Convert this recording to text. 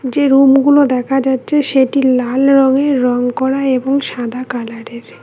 যে রুম -গুলো দেখা যাচ্চে সেটি লাল রঙের রং করা এবং সাদা কালার -এর।